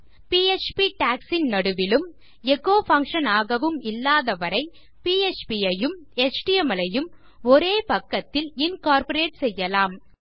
PHP tags இன் நடுவிலும் echo function ஆகவும் இல்லாதவரை பிஎச்பி ஐயும் எச்டிஎம்எல் ஐயும் ஒரே பக்கத்தில் இன்கார்ப்பரேட் செய்யலாம்